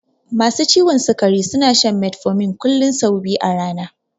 Masu ciwon sikari suna shan metformin kullun sau biyu a rana